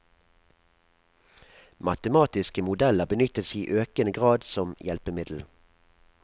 Matematiske modeller benyttes i økende grad som hjelpemiddel.